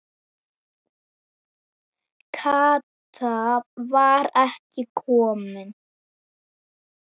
Kata var ekki komin.